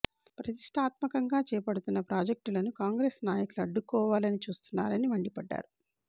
ప్రతిష్టాత్మకంగా చేపడుతున్న ప్రాజెక్టులను కాంగ్రెస్ నాయకులు అడ్డుకోవాలని చూస్తున్నారని మండిపడ్డారు